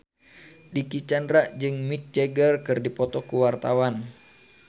Dicky Chandra jeung Mick Jagger keur dipoto ku wartawan